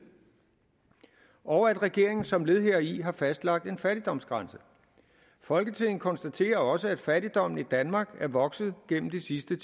og at regeringen som led heri har fastlagt en fattigdomsgrænse folketinget konstaterer også at fattigdommen i danmark er vokset gennem de sidste